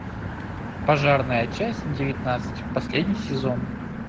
пожарная часть девятнадцать последний сезон